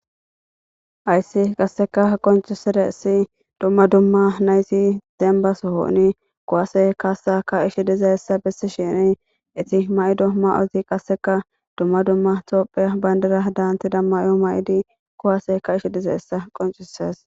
Ayssi qasseka qoncisede essi dumma dumma naysi denbasohooni kowase kaasa ka ish dizeessa bessi shini iti ma'ido ma'ozi qasseka dumma dumma toophia bayndara daanti dam mayo ma'idi kowase ka ish dizeessa qoncisees